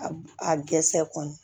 A a dɛsɛ kɔni